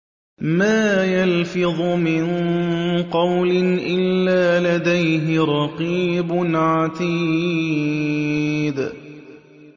مَّا يَلْفِظُ مِن قَوْلٍ إِلَّا لَدَيْهِ رَقِيبٌ عَتِيدٌ